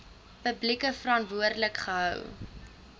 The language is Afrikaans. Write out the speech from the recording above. publiek verantwoordelik gehou